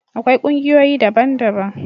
akwai kungiyoyi daban daban